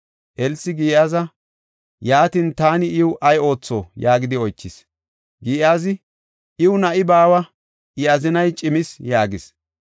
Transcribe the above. Elsi Giyaaza, “Yaatin, taani iw ay ootho?” yaagidi oychis. Giyaazi, “Iw na7i baawa; I azinay cimis” yaagis.